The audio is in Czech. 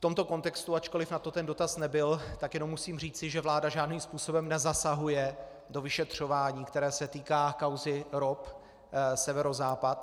V tomto kontextu, ačkoliv na to ten dotaz nebyl, tak jenom musím říci, že vláda žádným způsobem nezasahuje do vyšetřování, které se týká kauzy ROP Severozápad.